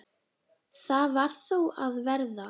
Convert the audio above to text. Það varð þó að verða.